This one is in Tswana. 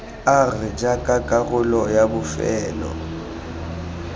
r jaaka karolo ya bofelo